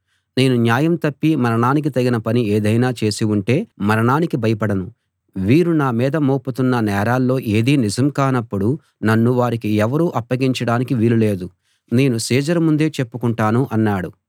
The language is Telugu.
నేను న్యాయం తప్పి మరణానికి తగిన పని ఏదైనా చేసి ఉంటే మరణానికి భయపడను వీరు నా మీద మోపుతున్న నేరాల్లో ఏదీ నిజం కానప్పుడు నన్ను వారికి ఎవరూ అప్పగించడానికి వీలు లేదు నేను సీజరు ముందే చెప్పుకొంటాను అన్నాడు